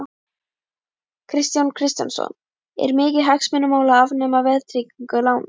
Kristján Kristjánsson: Er mikið hagsmunamál að afnema verðtryggingu lána?